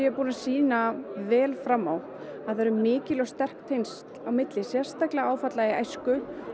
búin að sýna vel fram á það eru mikil og sterk tengsl sérstaklega áfalla í æsku